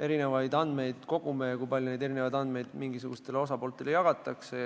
erinevaid andmeid kogume ja kui palju neid mingisugustele huvilistele jagatakse.